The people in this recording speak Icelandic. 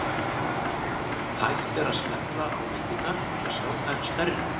Hægt er að smella á myndirnar til að sjá þær stærri.